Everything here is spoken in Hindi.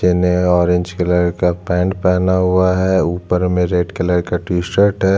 नीचे ने ऑरेंज कलर का पैंट पहना हुआ है ऊपर में रेड कलर का टीशर्ट हैं।